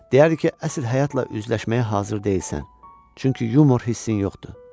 Deyərdi ki, əsl həyatla üzləşməyə hazır deyilsən, çünki yumor hissin yoxdur.